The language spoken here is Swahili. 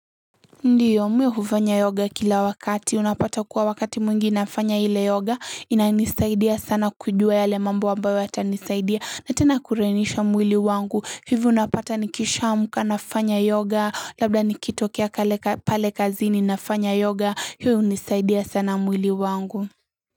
Ndiyo, mi hufanya yoga kila wakati. Unapata kuwa wakati mwingi nafanya ile yoga. Inanisaidia sana kujua yale mambo ambayo yata nisaidia. Na tena kulainisha mwili wangu. Hivo napata nikishamka nafanya yoga. Labda nikitokea kale pale kazini nafanya yoga. Hiyo hunisaidia sana mwili wangu.